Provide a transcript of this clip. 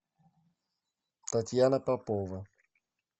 татьяна попова